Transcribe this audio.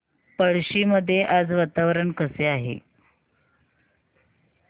पळशी मध्ये आज वातावरण कसे आहे